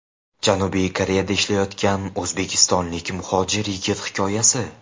Janubiy Koreyada ishlayotgan o‘zbekistonlik muhojir yigit hikoyasi.